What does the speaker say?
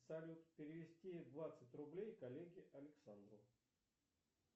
салют перевести двадцать рублей коллеге александру